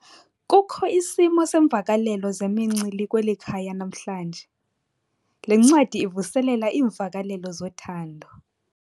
Kukho isimo seemvakalelo zemincili kweli khaya namhlanje. le ncwadi ivuselela iimvakalelo zothando